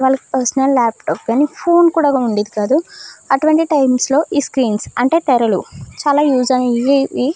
వాళ్ళకి personal laptop కానీ phone కూడా ఉండేది కాదు అటువంటి టైమ్స్ లో ఈ స్క్రీన్స్ అంటే తెరలు చాలా యూజ్ అయి వి.